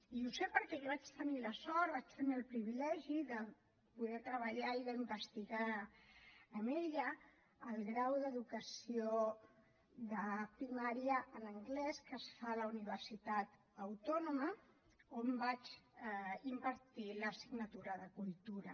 i ho sé perquè jo vaig tenir la sort vaig tenir el privilegi de poder treballar i d’investigar amb ella al grau d’educació de primària en anglès que es fa a la universitat autònoma on vaig impartir l’assignatura de cultura